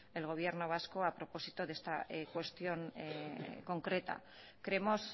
el gobierno vasco a propósito de esta cuestión concreta creemos